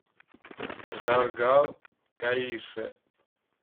жаргал каишев